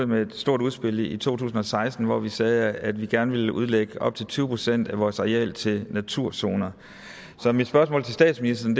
med et stort udspil i to tusind og seksten hvor vi sagde at vi gerne vil udlægge op til tyve procent af vores areal til naturzoner så mit spørgsmål til statsministeren